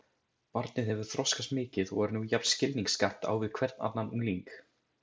Barnið hefur þroskast mikið og er nú jafn skilningsskarpt á við hvern annan ungling.